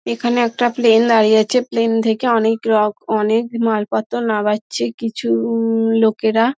এখানে একটা প্লেন দাঁড়িয়ে আছে প্লেন থেকে অনেক রক অনেক মালপত্র নামাচ্ছে কিছু-উ-উ লোকেরা|